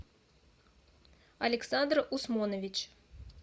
александр усмонович